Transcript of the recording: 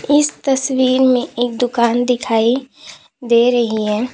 इस तस्वीर में एक दुकान दिखाई दे रही है।